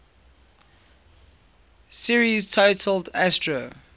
series titled astro